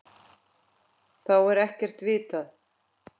Þá er ekkert vitað.